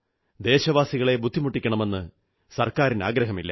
ദേശവാസികളെ ബുദ്ധിമുട്ടിക്കണമെന്ന് സർക്കാരിന് ആഗ്രഹമില്ല